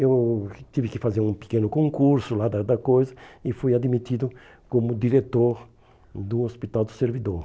Eu tive que fazer um pequeno concurso lá da da da coisa e fui admitido como diretor do Hospital do Servidor.